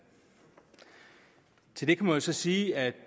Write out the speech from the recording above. til det kan man så sige at